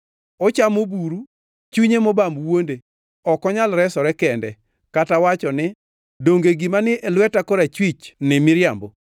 Ochamo buru, chunye mobam wuonde; ok onyal resore kende, kata wacho ni, “Donge gima ni e lweta korachwich ni miriambo?”